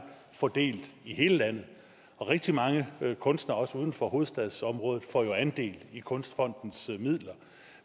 fordelt i hele landet og rigtig mange kunstnere også uden for hovedstadsområdet får jo andel i kunstfondens midler